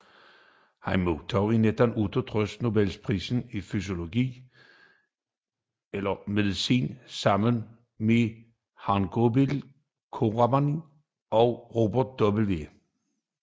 Han modtog i 1968 Nobelprisen i fysiologi eller medicin sammen med Har Gobind Khorana og Robert W